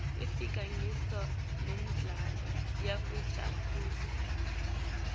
ifaka ngisho nemidlalo yekutijabulisa